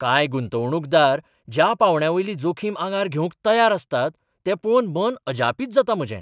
कांय गुंतवणूकदार ज्या पांवड्यावयली जोखीम आंगार घेवंक तयार आसतात तें पळोवन मन अजापित जाता म्हजें.